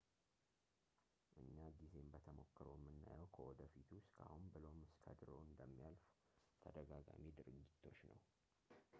እኛ ጊዜን በተሞክሮ የምናየው ከወደፊቱ እስከ አሁን ብሎም እስከ ድሮው እንደሚያልፍ ተደጋጋሚ ድርጊቶች ነው